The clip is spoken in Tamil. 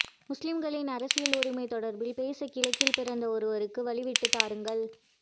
முஸ்லீம்களின் அரசியல் உரிமை தொடர்பில் பேச கிழக்கில் பிறந்த ஒருவருக்கு வழி விட்டு தாருங்கள்